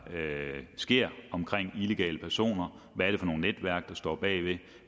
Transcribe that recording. sker omkring illegale personer hvad det er for nogle netværk der står bag